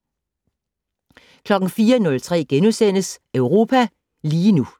04:03: Europa lige nu *